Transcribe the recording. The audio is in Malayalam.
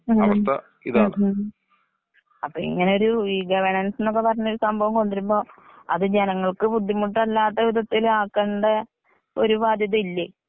ഉം ഉം അപ്പൊ ഇങ്ങനെ ഇഗവേണൻസ് ന്നൊക്കെ പറഞ്ഞാലും സംഭവം കൊണ്ട് വരുമ്പോൾ അത് ജനങ്ങൾക്ക് ബുദ്ധിമുട്ടല്ലാത്ത വിധത്തിലാക്കണ്ട ഒരു ബാധൃത ഇല്ലേ?.